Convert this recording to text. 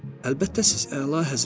Əlbəttə, siz, əlahəzrət.